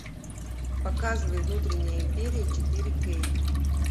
показывай внутренняя империя четыре кей